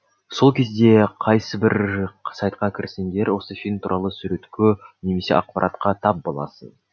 сол кезде қайсыбір сайтқа кірсеңдер осы фильм туралы суретке немесе ақпаратқа тап боласың